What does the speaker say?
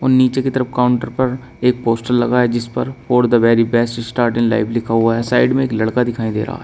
नीचे कि तरफ काउंटर पर एक पोस्टर लगा है जिसपर for the very best start in life लिखा हुआ है साइड में एक लड़का दिखाई दे रहा है।